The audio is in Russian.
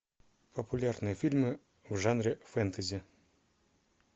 популярные фильмы в жанре фэнтези